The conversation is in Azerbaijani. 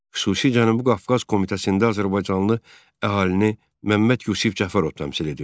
Xüsusi Cənubi Qafqaz komitəsində azərbaycanlı əhalini Məmməd Yusif Cəfərov təmsil edirdi.